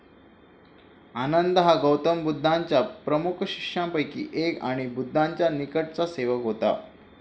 आनंद हा गौतम बुद्धांच्या प्रमुख शिष्यांपैकी एक आणि बुद्धाचा निकटचा सेवक होता.